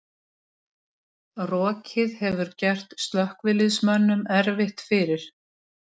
Rokið hefur gert slökkviliðsmönnum erfitt fyrir